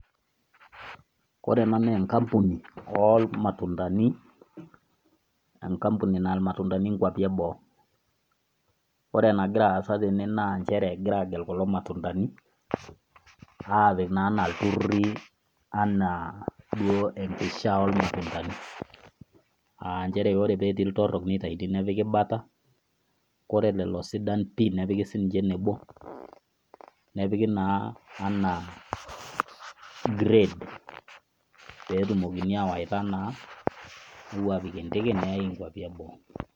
Ore ena naa enkampuni olmatundani, enkampuni naya ilmatundani inkwapi e boo. Ore enagira aasa tene naa nchere egirai agel kulo matundani apik naa anaa ilturruri anna duo enkishaa olmatundanii. Aanchere ore peetii iltorrok neitaini nepiki bata, ore lelo sidan pii nepiki sininche enebo, anaa grade peetumokini awaita naa newoi apik endege neyai inkwapi eboo.